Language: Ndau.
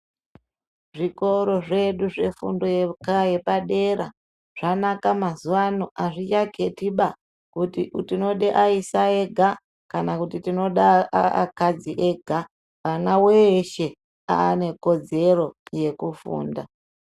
Zvikora zvedu zvefundo yeoadera zvanaka mazuva ano azvichaketi mazuva ano kuti tinoda aisa ega kana kuti tinoda akadzi ega mwana weshe ane kodzero yekufunda.